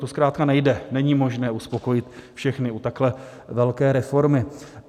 To zkrátka nejde, není možné uspokojit všechny u takhle velké reformy.